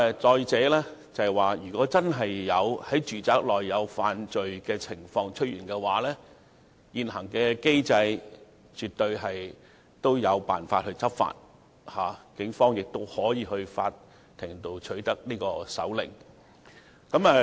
再者，如果真的出現在住宅內犯罪的情況，現行的機制也絕對有辦法讓警方執法，警方亦可以向法庭申請搜查令。